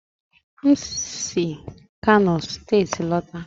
m si kano steeti lọta.